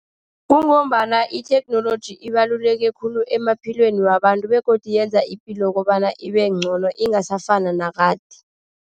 Kungombana itheknoloji ibaluleke khulu emaphilweni wabantu, begodu yenza ipilo kobana ibe ngcono, ingasafani nakade.